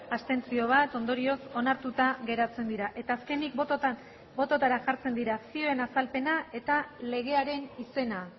abstentzio ondorioz onartuta geratzen dira eta azkenik botoetara jartzen dira zioen azalpena eta legearen izena